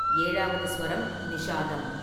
ஏழாவது சுவரம் நிஷாதம்.